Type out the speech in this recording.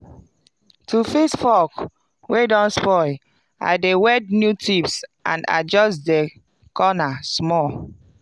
to fix fork wey don spoil i dey weld new tips and adjust de corner small